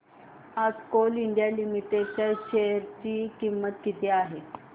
आज Coal India Limited च्या share ची किंमत किती आहे